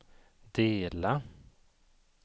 dela